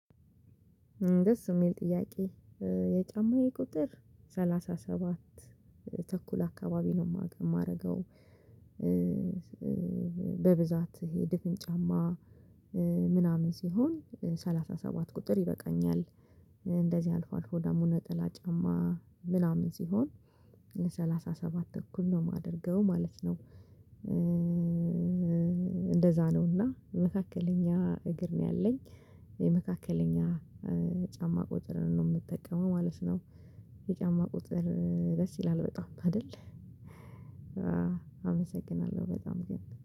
ደስ የሚል ጥያቄ የጫማዬ ቁጥር ሰላሳ ሰባት ተኩል አካባቢ ነው የማደርገው። በብዛት ድፍን ጫማ ምናምን ሲሆን ሰላሳ ሰባት ቁጥር ይበቃኛል። እንደዚህ አልፎ አልፎ ደግሞ ነጠላ ጫማ ምናምን ሲሆን ሰላሳ ሰባት ተኩል ነው የማደርገው ማለት ነው። እንደዛ ነውና መካከለኛ እግር ነው ያለኝ። መካከለኛ ጫማ ቁጥርን ነው የምጠቀመው ማለት ነው። የጫማ ቁጥር ደስ ይላል በጣም አይደል አመሰግናለሁ በጣም ግን።